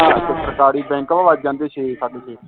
ਸਰਕਾਰੀ ਬੈਂਕ ਵਾ ਵੱਜ ਜਾਂਦੇ ਛੇ ਸਾਢੇ ਛੇ